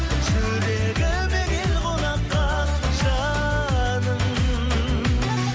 жүрегіме кел қонаққа жаным